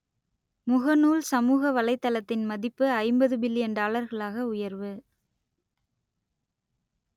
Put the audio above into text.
முகநூல் சமூக வலைத்தளத்தின் மதிப்பு ஐம்பது பில்லியன் டாலர்களாக உயர்வு